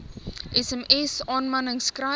sms aanmanings kry